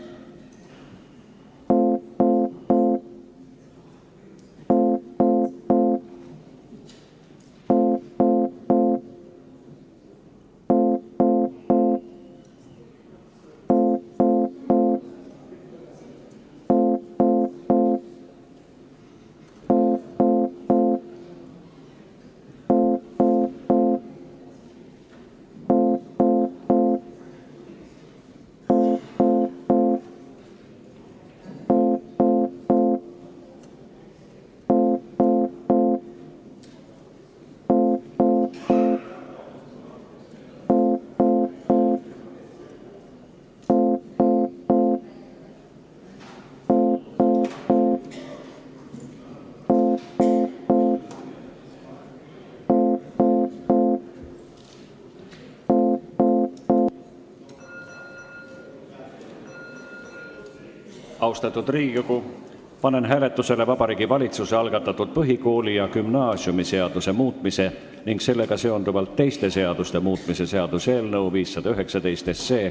Austatud Riigikogu, panen hääletusele Vabariigi Valitsuse algatatud põhikooli- ja gümnaasiumiseaduse muutmise ning sellega seonduvalt teiste seaduste muutmise seaduse eelnõu 519.